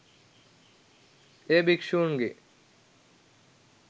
එය භික්ෂූන්ගේ